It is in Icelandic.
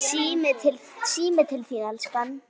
Síminn til þín, elskan!